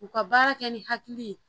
U ka baara kɛ ni hakili ye